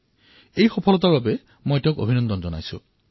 মই তেওঁৰ এই সফলতাৰ বাবে অভিনন্দন জনাইছোঁ